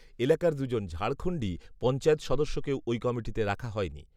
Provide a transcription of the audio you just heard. এলাকার দুজন ঝাড়খণ্ডী পঞ্চায়েত সদস্যকেও ওই কমিটিতে রাখা হয়নি